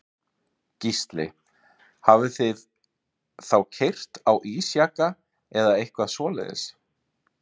Gísli: Hafið þið þá keyrt á ísjaka eða eitthvað svoleiðis?